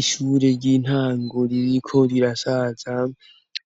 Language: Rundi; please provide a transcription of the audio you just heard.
ishure ry'intango ririko rirasaza